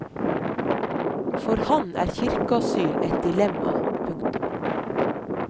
For ham er kirkeasyl et dilemma. punktum